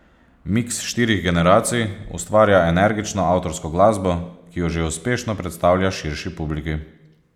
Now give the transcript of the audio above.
Miks štirih generacij ustvarja energično avtorsko glasbo, ki jo že uspešno predstavlja širši publiki.